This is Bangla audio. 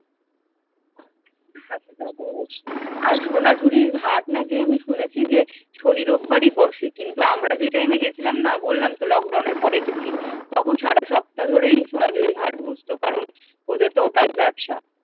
আর সোনাঝুরির হাট নাকি আমি শুনেছি যে শনি রোববারই বসে কিন্তু আমরা যে টাইম এ গেছিলাম না বললাম তো লকডাউন এর পরে গেছি তখন সারা সপ্তাহ ধরেই সোনাঝুরির হাট বসতো কারণ ওদের তো ওটাই ব্যবসা